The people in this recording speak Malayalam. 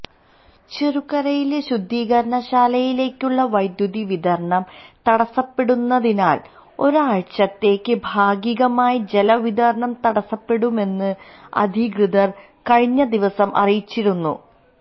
ചെറുകരയിലെ ശുദ്ധീകരണ ശാലയിലേക്കുള്ള വൈദ്യുതി വിതരണം തടസ്സപ്പെടുന്നതിനാല് ഒരാഴ്ചത്തേക്ക് ഭാഗികമായി ജലവിതരണം തടസ്സപ്പെടുമെന്ന് അധികൃതര് കഴിഞ്ഞദിവസം അറിയിച്ചിരുന്നു